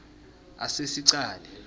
asesicale